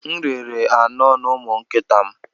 M rere anọ n'ụmụ nkịta m.